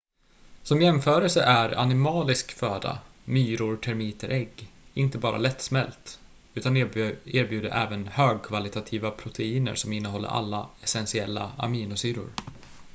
som jämförelse är animalisk föda myror termiter ägg inte bara lättsmält utan erbjuder även högkvalitativa proteiner som innehåller alla essentiella aminosyror